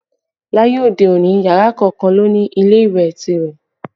Láyé òde òní, yàrá kọ̀ọ̀kan ló ń ní ilé ìwẹ̀ tirẹ̀